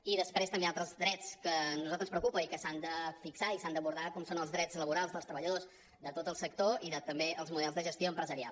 i després també altres drets que a nosaltres ens preocupen i que s’han de fixar i s’han d’abordar com són els drets laborals dels treballadors de tot el sector i també els models de gestió empresarial